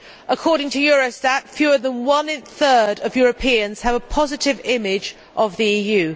According to Eurostat, fewer than one third of Europeans have a positive image of the EU.